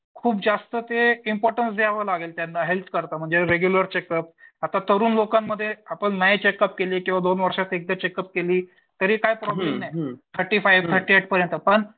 खूप जास्त ते इम्पॉर्टन्स द्यावं लागेल त्यांना हेल्थ करता म्हणजे रेग्युलर चेकअप आता तरुण लोकांमध्ये आपण नाही चेकअप केली दोन वर्षात एकदा चेकअप केली तरी काय प्रॉब्लम नाही थर्टी फाईव्ह थर्टी ऐट पर्यंत पण